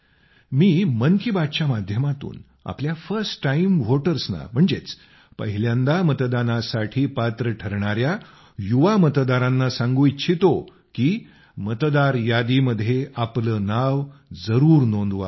मी मन की बात च्या माध्यमातून आपल्या फर्स्ट टाइम व्होटर्सना म्हणजेच पहिल्यांदा मतदानासाठी पात्र ठरणाया युवा मतदारांना सांगू इच्छितो की मतदार यादीमध्ये आपलं नाव जरूर नोंदवावं